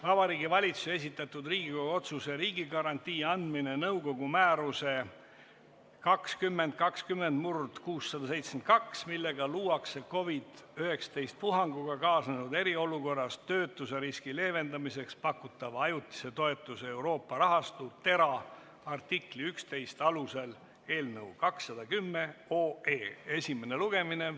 Vabariigi Valitsuse esitatud Riigikogu otsuse "Riigigarantii andmine nõukogu määruse 2020/672, millega luuakse COVID-19 puhanguga kaasnenud eriolukorras töötuseriski leevendamiseks pakutava ajutise toetuse Euroopa rahastu , artikli 11 alusel" eelnõu 210 esimene lugemine.